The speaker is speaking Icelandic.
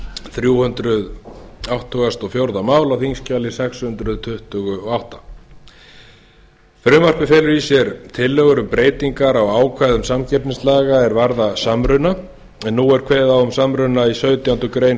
þrjú hundruð áttugasta og fjórða mála á þingskjali sex hundruð tuttugu og átta frumvarpið felur í sér breytingar á ákvæðum samkeppnislaga er varða samruna en nú er kveðið á um samruna í sautjándu grein